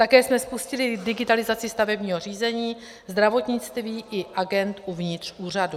Také jsme spustili digitalizaci stavebního řízení, zdravotnictví i agend uvnitř úřadu.